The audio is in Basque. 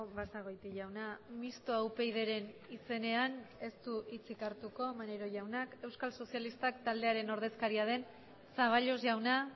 basagoiti jauna mistoa upydren izenean ez du hitzik hartuko maneiro jaunak euskal sozialistak taldearen ordezkaria den zaballos jauna